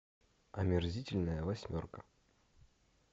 омерзительная восьмерка